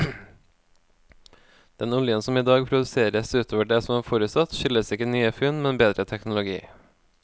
Den oljen som idag produseres utover det som var forutsatt, skyldes ikke nye funn, men bedre teknologi.